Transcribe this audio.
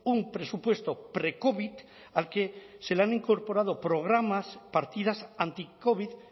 un presupuesto precovid al que se le han incorporado programas partidas anticovid